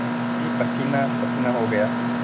मैं पसीनापसीना हो गया